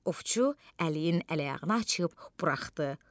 Ovçu əliyin əl-ayağını açıb buraxdı.